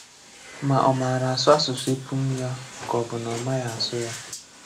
Mà ọ̣ màāra àsụ àsụsụ ēpùṃ yà kà ọ̣ bụ nà ọ̣ màghị̄ àsụ ya.